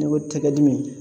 Ne ko tɛgɛ dimi